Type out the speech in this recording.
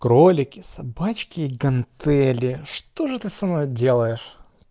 кролики собачки гантели что же ты со мной делаешь